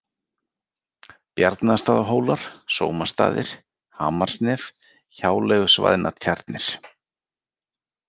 Bjarnastaðahólar, Sómastaðir, Hamarsnef, Hjáleigusvæðnatjarnir